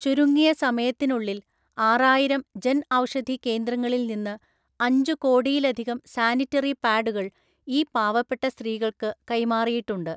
ചുരുങ്ങിയ സമയത്തിനുള്ളില്‍ ആറായിരം ജന്‍ ഔഷധി കേന്ദ്രങ്ങളില്‍ നിന്ന് അഞ്ചു കോടിയിലധികം സാനിറ്ററി പാഡുകള്‍ ഈ പാവപ്പെട്ട സ്ത്രീകള്‍ക്ക് കൈമാറിയിട്ടുണ്ട്.